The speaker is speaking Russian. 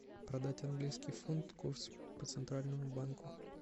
продать английский фунт курс по центральному банку